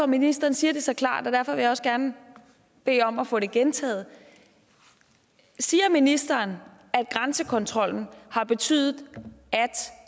ministeren siger det så klart og derfor vil jeg også gerne bede om at få det gentaget siger ministeren at grænsekontrollen har betydet at